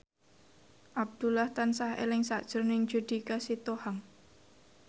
Abdullah tansah eling sakjroning Judika Sitohang